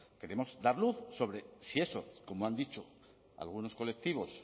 queremos dar luz sobre si eso como han dicho algunos colectivos